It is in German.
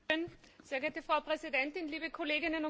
Frau Präsidentin, liebe Kolleginnen und Kollegen!